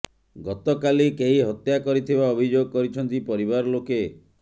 ଗତକାଲି କେହି ହତ୍ୟା କରିଥିବା ଅଭିଯୋଗ କରିଛନ୍ତି ପରିବାର ଲୋକେ